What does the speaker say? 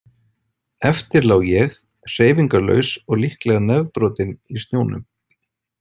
Eftir lá ég, hreyfingarlaus og líklega nefbrotinn í snjónum.